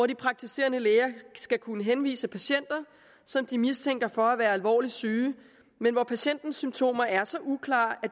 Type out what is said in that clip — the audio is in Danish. de praktiserende læger skal kunne henvise patienter som de mistænker for at være alvorligt syge men hvor patientens symptomer er så uklare at